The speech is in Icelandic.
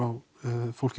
fólki